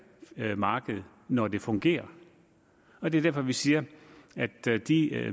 marked når det fungerer og det er derfor vi siger at de